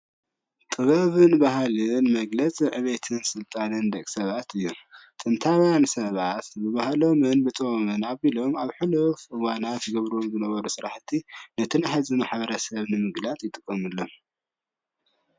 ጥበብን ባህልን መግለፂ ዐበየትን ስልጣነን ደቂሰባት እዩ ጥንታውያን ሰባት ባህሎም ብጥበብን ኣብሎም ኣብ ሕሉፍ እዋናት ዝገብርዎ ዝነበሩ ስራሕቲይ ነቲይ ናይ ከዚ ማሕበረሰብ ሰባት መግለፂ ይጥቀሙሎም።